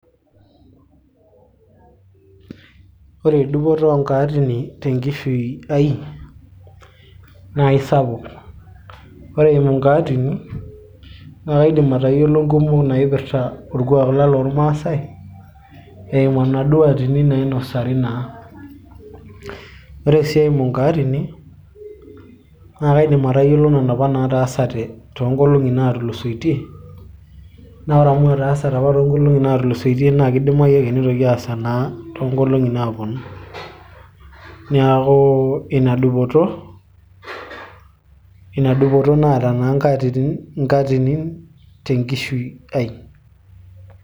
ore dupoto oonkatini tenkishui ai naa isapuk ore eimu inkaatini naa kaidim atayiolo inkumok naipirrta orkuak lang lormaasay eimu enaduo atini nainosari naa ore sii eimu inkaatini naa kaidim atayiolo nana apa nataasate toonkolong'i naatulusoitie naa ore amu etaasate apa toonkolong'i natulusoitie naa kidimayu ake nitoki ake aasa naa toonkolong'i naaponu niaku ina dupoto naata naa nkatinini tenkishui ai.